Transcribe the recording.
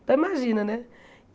Então imagina, né?